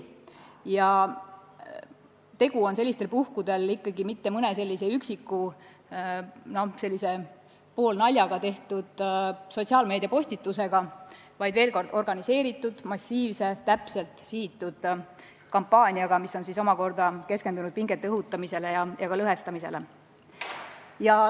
Tegu pole sellistel puhkudel mitte mõne üksiku ja vaat et poolnaljaga tehtud sotsiaalmeediapostitusega, vaid organiseeritud massiivse, täpselt sihitud kampaaniaga, mis on keskendatud pingete õhutamisele ja ka rahva lõhestamisele.